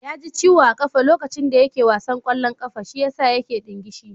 Ya ji ciwo a ƙafa lokacin da yake wasan ƙwallon ƙafa, shiyasa yake ɗingishi